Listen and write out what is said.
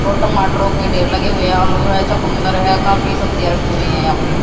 ओ टमाटोर के ढेर लगे हुए आलू है चुकंदर है काफी सब्जीया रखी हुई है यहां पे।